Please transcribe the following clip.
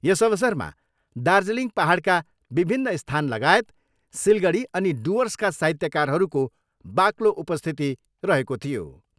यस अवसरमा दार्जिलिङ पाहाडका विभिन्न स्थान लागायत सिलगडी अनि डुर्वसका साहित्यकारहरूको बाक्लो उपस्थिति रहेको थियो।